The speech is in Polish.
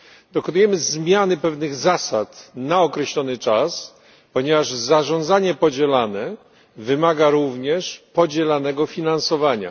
Dokonujemy zmiany pewnych zasad na określony czas, ponieważ zarządzanie podzielane wymaga również podzielanego finansowania.